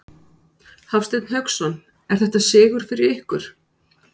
Hafsteinn Hauksson: Er þetta sigur fyrir ykkur?